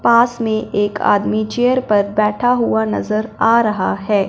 पास में एक आदमी चेयर पर बैठा हुआ नजर आ रहा है।